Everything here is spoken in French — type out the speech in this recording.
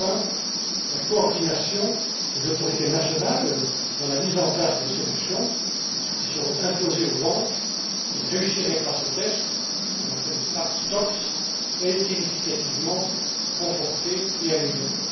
Enfin, la coordination des autorités nationales dans la mise en place des solutions, qui seront imposées aux banques qui ne réussiraient pas ce test ce qu'on appelle les backstops est significativement confortée et améliorée.